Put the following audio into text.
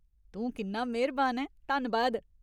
तूं किन्ना मेह्‌रबान ऐं, धन्नबाद।